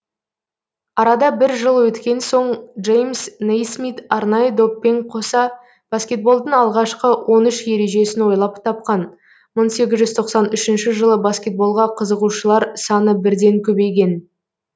арада бір жыл өткен соң джеймс нейсмит арнайы доппен қоса баскетболдың алғашқы он үш ережесін ойлап тапқан мың сегіз жүз тоқсан үшінші жылы баскетболға қызығушылар саны бірден көбейген